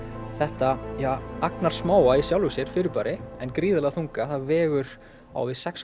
þetta agnarsmáa í sjálfu sér fyrirbæri en gríðarlega þunga það vegur á við sex